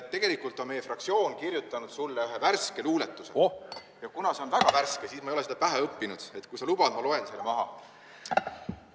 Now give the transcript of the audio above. Tegelikult on meie fraktsioon kirjutanud sulle ühe värske luuletuse ja kuna see on väga värske, siis ma ei ole seda pähe õppinud, nii et kui sa lubad, ma loen selle maha.